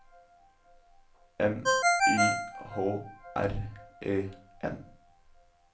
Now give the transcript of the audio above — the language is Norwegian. M Y H R E N